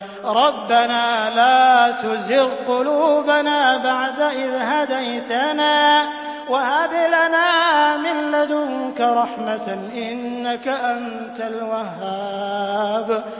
رَبَّنَا لَا تُزِغْ قُلُوبَنَا بَعْدَ إِذْ هَدَيْتَنَا وَهَبْ لَنَا مِن لَّدُنكَ رَحْمَةً ۚ إِنَّكَ أَنتَ الْوَهَّابُ